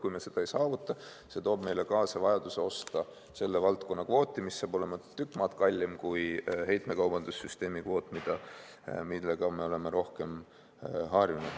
Kui me seda ei saavuta, siis see toob meile kaasa vajaduse osta selle valdkonna kvooti, mis saab olema tükk maad kallim kui heitmekaubanduse süsteemi kvoot, millega me oleme rohkem harjunud.